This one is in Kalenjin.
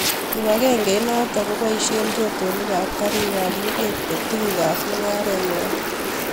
Kipagengeinotok kopaishee rotonik ak karik ap luget ko tuguk ap mung'aret ngw'ai